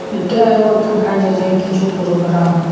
এটা এগো দেখাএন যাচ্ছে কিছু প্রোগ্রাম ।